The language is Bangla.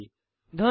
ধন্যবাদ